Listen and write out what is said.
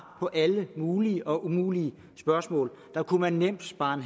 på alle mulige og umulige spørgsmål man kunne nemt spare